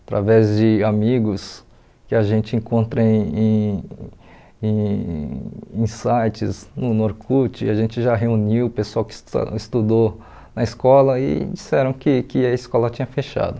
Através de amigos que a gente encontra em em em em em sites no no Orkut, a gente já reuniu o pessoal que está estudou na escola e disseram que que a escola tinha fechado.